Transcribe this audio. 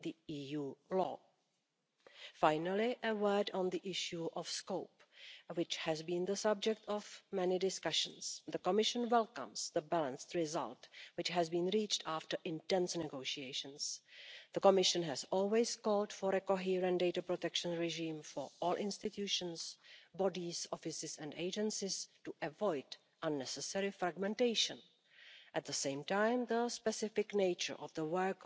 Europol, after long debates, continues to have its own set of rules. However, it is our understanding in the SD Group that the future Europol reform will rectify this problem, thus helping to create legal certainty and uniform rules, including for the processing of operational data. Together with and on behalf of our shadow, Miriam Dalli, we would like to congratulate the rapporteur, Cornelia Ernst. Together,